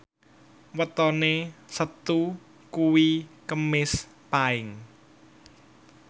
wetone Setu kuwi Kemis Paing